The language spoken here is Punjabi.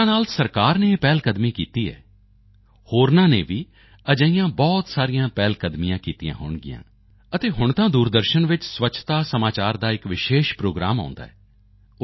ਜਿਸ ਤਰ੍ਹਾਂ ਨਾਲ ਸਰਕਾਰ ਨੇ ਇਹ ਪਹਿਲਕਦਮੀ ਕੀਤੀ ਐ ਹੋਰਨਾਂ ਨੇ ਵੀ ਅਜਿਹੀਆਂ ਬਹੁਤ ਪਹਿਲਕਦਮੀਆਂ ਕੀਤੀਆਂ ਹੋਣਗੀਆਂ ਅਤੇ ਹੁਣ ਤਾਂ ਦੂਰਦਰਸ਼ਨ ਵਿੱਚ ਸਵੱਛਤਾ ਸਮਾਚਾਰ ਦਾ ਇਕ ਵਿਸ਼ੇਸ਼ ਪ੍ਰੋਗਰਾਮ ਆਉਂਦਾ ਹੈ